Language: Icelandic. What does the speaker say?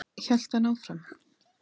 hélt hann áfram.